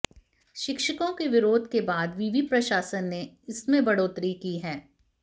शिक्षकों के विरोध के बाद विवि प्रशासन ने इसमें बढ़ोतरी की है